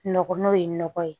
Nɔgɔ n'o ye nɔgɔ ye